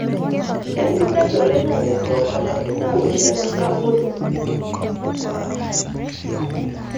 kesidai oloingange too ngolongi naapishana naaponu